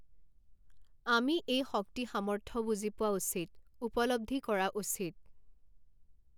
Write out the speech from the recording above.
আমি এই শক্তি সামৰ্থ্য বুজি পোৱা উচিত, উপলব্ধি কৰা উচিত।